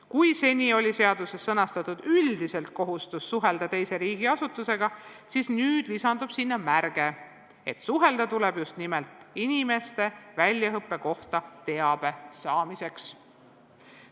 Kui seni oli seaduses sõnastatud üldiselt kohustus suhelda teise riigi asutusega, siis nüüd lisandub sinna märge, et suhelda tuleb just nimelt inimeste väljaõppe kohta teabe saamiseks.